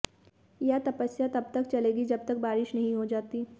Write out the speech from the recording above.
यह तपस्या तब तक चलेगी जब तक बारिश नहीं हो जाती